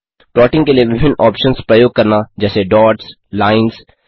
plotting के लिए विभिन्न ऑप्शन्स प्रयोग करना जैसे डॉट्स लाइन्स